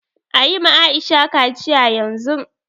Ayi ma Aisha kaciya yanzun